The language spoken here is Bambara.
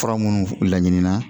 Fura minnu laɲini na